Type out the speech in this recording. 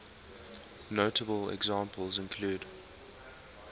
notable examples include